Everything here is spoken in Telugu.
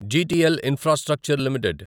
GTL infrastructure limited